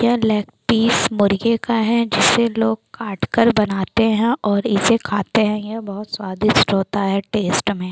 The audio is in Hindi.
ये लेग पीस मुर्गे का है जिसे लोग काटकर बनाते है और इसे खाते है बहुत स्वदिस्ट होता है।